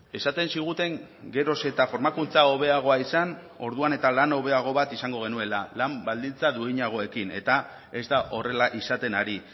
esaten ziguten geroz eta formakuntza hobeagoa izan orduan eta lan hobeago bat izango genuela lan baldintza duinagoekin eta ez da horrela izaten ari